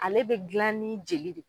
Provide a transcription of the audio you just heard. Ale bɛ dilan ni jeli de